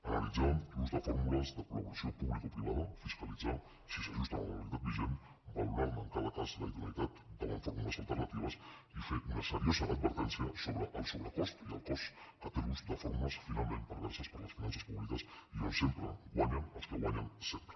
analitzar l’ús de fórmules de col·laboració publico privada fiscalitzar si s’ajusten a la legalitat vigent valorar ne en cada cas la idoneïtat davant fórmules alternatives i fer una seriosa advertència sobre el sobrecost i el cost que té l’ús de fórmules finalment perverses per a les finances publiques i on sempre guanyen els que guanyen sempre